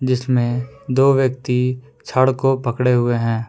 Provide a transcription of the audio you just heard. इसमें दो व्यक्ति छड़ को पकड़े हुए हैं।